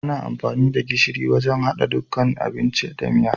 Ana amfani da gishiri wajan haɗa kusan dukkan abinci da miya.